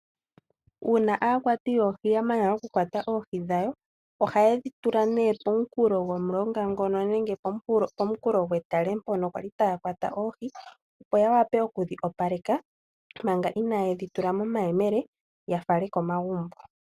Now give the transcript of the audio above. Uuna aakwati yoohi ya mana okukwata oohi dhawo ohaye dhi tula nee pomunkulo gomulonga ngono nenge pomunkulo gwetale mpono kwali taya kwata oohi. Opo ya vule okudhi opaleka manga inaa yedhi tula momameyele ya fale komagumbo.